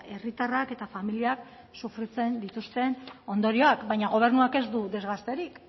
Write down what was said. herritarrak eta familiak sufritzen dituzten ondorioak baina gobernuak ez du desgasterik